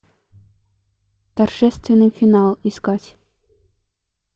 торжественный финал искать